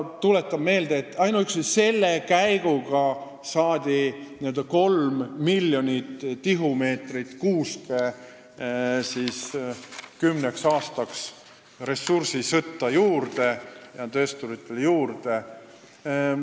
Tuletan meelde, et ainuüksi selle sammuga said töösturid kolm miljonit tihumeetrit kuuske kümneks aastaks ressursisõtta juurde.